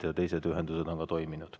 Ja teised ühendused on ka toiminud.